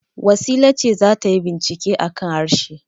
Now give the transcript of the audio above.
Wasila ce za ta yi bincike a kan harshe.